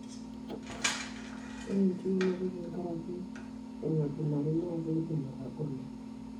ore enchiunoto tenkaraki aingojinari na keidim atagolo.